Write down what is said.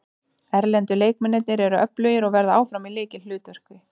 Erlendu leikmennirnir eru öflugir og verða áfram í lykilhlutverki.